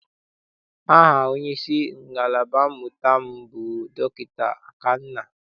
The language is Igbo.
Aha onyeisi ngalaba mmụta m bụ Dọkịta Akanna.